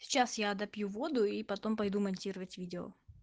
сейчас я допью воду и потом пойду монтировать видео